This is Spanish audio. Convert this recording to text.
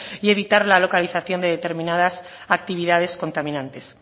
y evitar la localización de determinadas actividades contaminantes